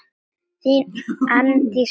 þín Arndís Bára.